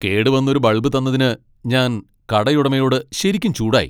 കേടുവന്ന ഒരു ബൾബ് തന്നതിന് ഞാൻ കടയുടമയോട് ശരിക്കും ചൂടായി.